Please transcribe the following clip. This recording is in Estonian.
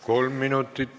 Kolm minutit lisaaega.